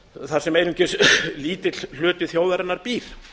þar sem einungis lítill hluti þjóðarinnar býr